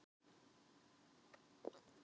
Og kærar þakkir fyrir son ykkar.